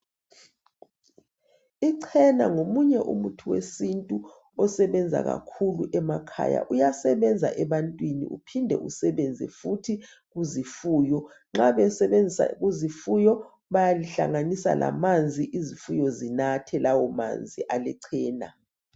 Ichena ngomunye umuthi wesintu osebenza kakhulu emakhaya uyasebenza ebantwini uphinde usebenze futhi kuzifuyo nxa besebenzisa kuzifuyo bayalihlanganisa lamanzi izifuyo zinathe lawo manzi alechena